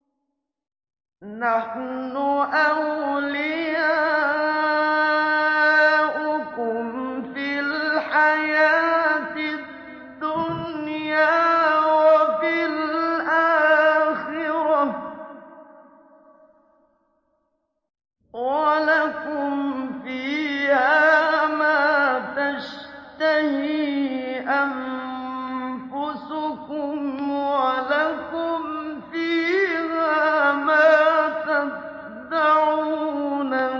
نَحْنُ أَوْلِيَاؤُكُمْ فِي الْحَيَاةِ الدُّنْيَا وَفِي الْآخِرَةِ ۖ وَلَكُمْ فِيهَا مَا تَشْتَهِي أَنفُسُكُمْ وَلَكُمْ فِيهَا مَا تَدَّعُونَ